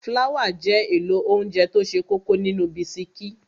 Fláwà jẹ́ èlò óńjẹ tó ṣe kókó nínú bisikí.